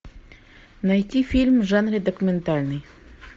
найти фильм в жанре документальный